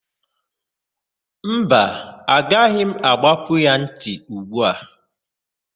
Mba, agaghị m àgbápú ya ntị ugbu a.